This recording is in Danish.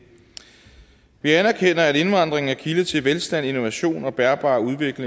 vi anerkender at indvandring er kilde til velstand innovation og bæredygtig